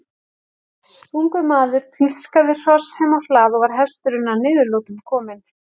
Ungur maður pískaði hross heim á hlað og var hesturinn að niðurlotum kominn.